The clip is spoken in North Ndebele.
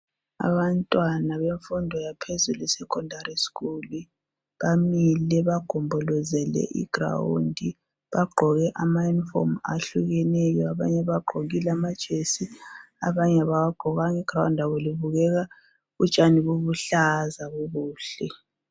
Abantwana bemfundo yaphezulu secondary school bamile bagombolozele I ground , bagqoke ama uniform ahlukeneyo , abanye bagqokile amajesi abanye abawagqokanga , I ground labo libukeka utshani buluhlaza bubuhle